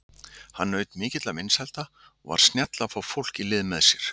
Hann naut mikilla vinsælda og var snjall að fá fólk í lið með sér.